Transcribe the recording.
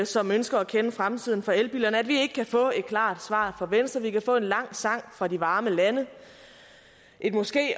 som ønsker at kende fremtiden for elbilerne over at vi ikke kan få et klart svar fra venstre vi kan få en lang sang fra de varme lande et måske